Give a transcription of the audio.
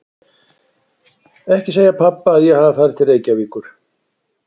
Ekki segja pabba að ég hafi farið til Reykjavíkur.